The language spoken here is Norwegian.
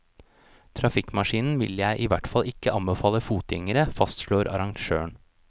Trafikkmaskinen vil jeg i hvert fall ikke anbefale fotgjengere, fastslår arrangøren.